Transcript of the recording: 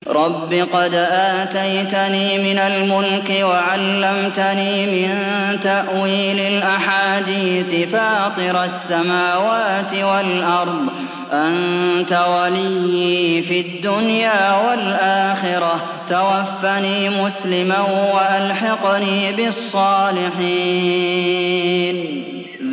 ۞ رَبِّ قَدْ آتَيْتَنِي مِنَ الْمُلْكِ وَعَلَّمْتَنِي مِن تَأْوِيلِ الْأَحَادِيثِ ۚ فَاطِرَ السَّمَاوَاتِ وَالْأَرْضِ أَنتَ وَلِيِّي فِي الدُّنْيَا وَالْآخِرَةِ ۖ تَوَفَّنِي مُسْلِمًا وَأَلْحِقْنِي بِالصَّالِحِينَ